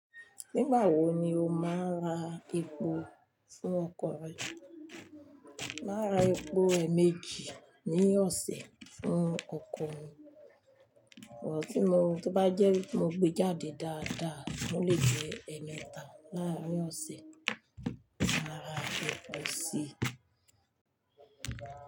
Nígbà wo ni o máa ra epo fún ọkọ̀ rẹ? Màá ra epo eméjì ní ọ̀sẹ̀ fún ọkọ̀ mi, ṣùgbọ́n tí mo bá jẹ́ mo gbé jáde dáadáa, mo lè jẹ́ ẹmẹta láàárín ọ̀sẹ̀ máa ra epo sí i.